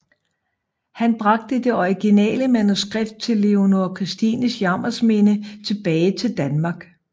Han bragte det originale manuskript til Leonora Christines Jammersminde tilbage til Danmark